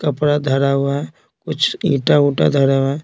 कपड़ा धरा हुआ है कुछ ईंटा-उंटा धरा हुआ है।